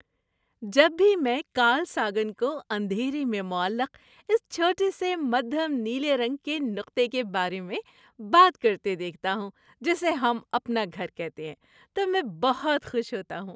جب بھی میں کارل ساگن کو اندھیرے میں معلق اس چھوٹے سے مدھم نیلے رنگ کے نقطے کے بارے میں بات کرتے دیکھتا ہوں جسے ہم اپنا گھر کہتے ہیں، تو میں بہت خوش ہوتا ہوں۔